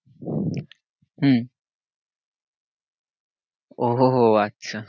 হম ওহ ও আচ্ছা।